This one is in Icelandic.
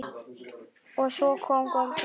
Og svo kom golfið.